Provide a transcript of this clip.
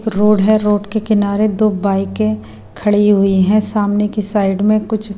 road है road के किनारे दो बाइकें खड़ी हुई हैं सामने की साइड में कुछ--